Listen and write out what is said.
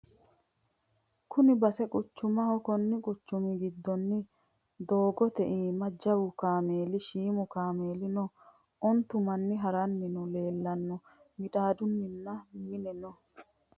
Kuni base quchumaho kunni quchummi giddono doggote imaa jawwu kaameli, shiimu kaameli noo onittu Manni harranni noohu leelanno middadonnino Minna noo